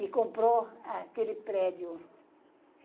E comprou aquele prédio.